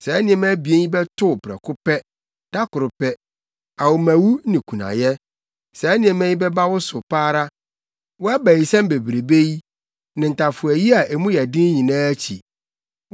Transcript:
Saa nneɛma abien yi bɛto wo prɛko pɛ, da koro pɛ: awommawu ne kunayɛ. Saa nneɛma yi bɛba wo so pa ara, wʼabayisɛm bebrebe yi ne ntafowayi a mu yɛ den nyinaa akyi.